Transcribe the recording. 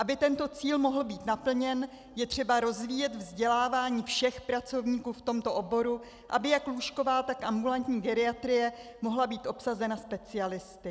Aby tento cíl mohl být naplněn, je třeba rozvíjet vzdělávání všech pracovníků v tomto oboru, aby jak lůžková, tak ambulantní geriatrie mohla být obsazena specialisty.